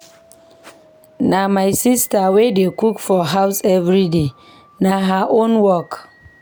Na my sista wey dey cook for house everyday, na her own work.